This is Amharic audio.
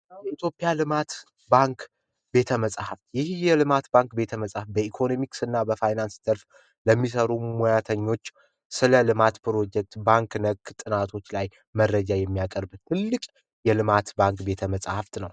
የኢትዮጵያ ልማት ባንክ ቤተመፃህፍት ይህ መጽሐፍ የኢትዮጵያ በኢኮኖሚ በፋይናንስ ዘርፍ ለሚሰሩ ሙያተኞች ስለ ልማት ፕሮጀክት ባንክ ጥናቶች ላይ መረጃ የሚያቀርብ ትልቅ የልማት ባንክ ቤተ መጻሕፍት ነው።